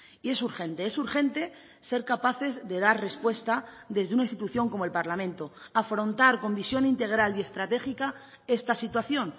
y es urgente es urgente ser capaces de dar respuesta desde una institución como el parlamento afrontar con visión integral y estratégica esta situación